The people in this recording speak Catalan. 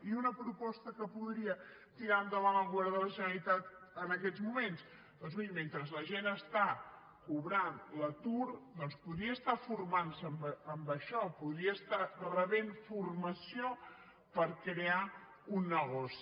i una proposta que podria tirar endavant el govern de la generalitat en aquests moments doncs miri mentre la gent està cobrant l’atur podria estar formant se en això podria estar rebent formació per crear un negoci